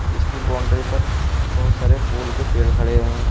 इसकी बाउंड्री पर बहुत सारे फूल के पेड़ खड़े हुए हैं।